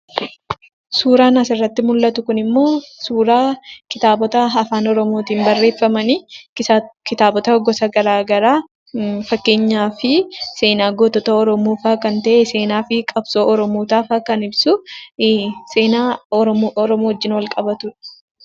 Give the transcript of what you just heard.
Suuraan asirratti mul'atu kun immoo, suuraa kitaabota afaan oromootin barreeffaman, kitaaboota gosa garaagaraa, fakkeenyaaf, seenas gootota oromoofaa kan ta'e, seenaa fi qabsoo oromoota kan ibsu, seenaa oromoo wajjin wal-qavatudha.